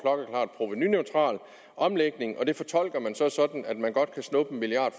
provenuneutral omlægning det fortolker man så sådan at man godt kan snuppe en milliard